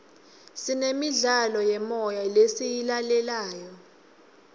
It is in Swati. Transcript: sinemidlalo yemoya lesiyilalelayo